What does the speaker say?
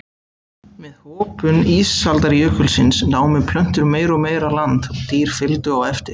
Með hopun ísaldarjökulsins námu plöntur meira og meira land og dýr fylgdu á eftir.